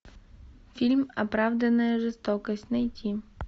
фильм оправданная жестокость найти